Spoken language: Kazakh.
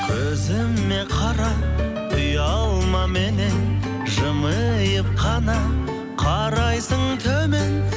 көзіме қара ұялма меннен жымиып қана қарайсың төмен